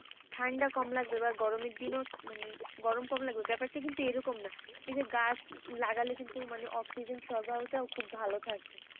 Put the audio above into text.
ঠান্ডা কম লাগবে বা গরমের দিনে মানে গরম কম লাগবে ব্যাপারটা কিন্তু এরকম না এই যে গাছ লাগালে কিন্তু মানে অক্সিজেন সরবরাও খুব ভালো থাকে।